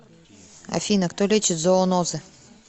афина кто лечит зоонозы